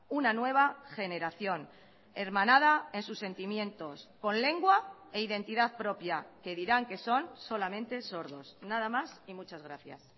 una nueva generación hermanada en sus sentimientos con lengua e identidad propia que dirán que son solamente sordos nada más y muchas gracias